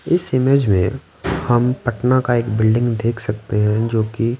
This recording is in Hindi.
इस इमेज में हम पटना का एक बिल्डिंग देख सकते हैं जोकि--